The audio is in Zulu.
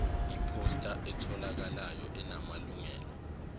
iphosta etholakalayo enamalungelo